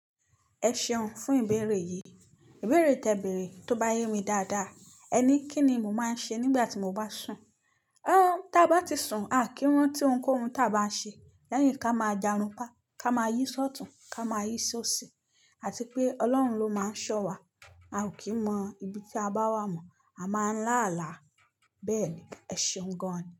Ẹ ṣeun fún ìbéèrè yìí. Ìbéèrè tẹ ìbéèrè, tó bá yé mi dáadáa. Ẹ ní kí ni mo máa ń ṣe nígbà tí mo bá sùn. Ọ, tí a bá ti sùn, a kì í rántí ohunkóhun tí a bá ṣe. Lẹ́yìn ká máa jàrunpá, ká máa yí ṣọtùn, ká máa yí ṣóṣi, àti pé Ọlọ́run ló máa ń ṣọ wá. A ò kí mọ ibi tí a bá wà mọ̀, a máa ń lá àlá. Bẹ́ẹ̀ ni, ẹ ṣeun gan-an ni.